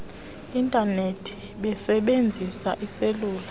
intanethi besebenzisa iiselula